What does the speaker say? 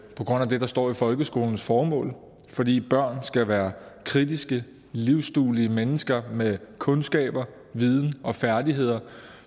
på grund af det der står i folkeskolens formål fordi børn skal være kritiske livsduelige mennesker med kundskaber viden og færdigheder